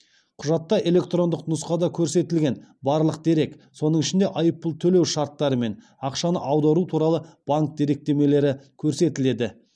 құжатта электрондық нұсқада көрсетілген барлық дерек соның ішінде айыппұл төлеу шарттары мен ақшаны аудару туралы банк деректемелері көрсетіледі